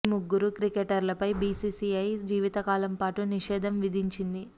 ఈ ముగ్గురు క్రికెటర్లపై బీసీసీఐ జీవితకాలం పాటు నిషే ధం విధించింది